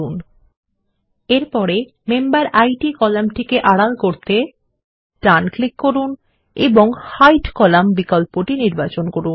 ল্টপাউসেগ্ট এরপরে মেম্বেরিড কলাম টিকে আড়াল করতে ডান ক্লিক করুন এবং হাইড কলাম্ন বিকল্পটি নির্বাচন করুন